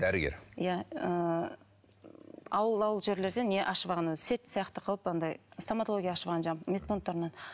дәрігер иә ы ауыл ауыл жерлерден не ашып алған әлгі сеть сияқты қылып анадай стоматология ашып алған жаңағы медпункттарынан